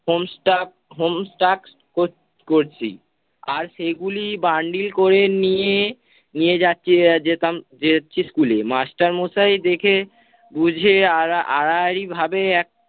home-stuck home-stucks কর~ করছি। আর সেগুলি bundle করে নিয়ে, নিয়ে যাচ্ছি যেতাম যাচ্ছি school এ master মশাই দেখে বুঝে আর আড়াআড়ি ভাবে